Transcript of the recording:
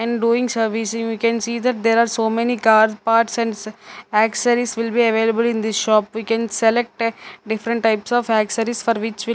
In doing servicing we can see that there are so many car parts and s axaries will be available in the shop. We can select a different types of axaries for which we'll --